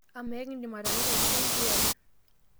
amaa ekindim atareto aitukuo nkiyai